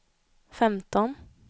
femton